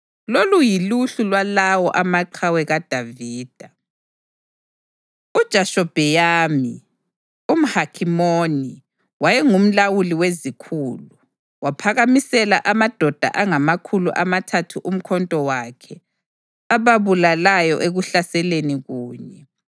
Lolu yiluhlu lwalawo maqhawe kaDavida: UJashobheyamu, umHakhimoni, wayengumlawuli wezikhulu; waphakamisela amadoda angamakhulu amathathu umkhonto wakhe, ababulalayo ekuhlaseleni kunye.